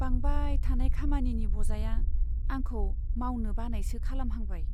बांबाय थानाय खामानिनि बजाया आंखौ मावनो बानायसो खालामहांबाय।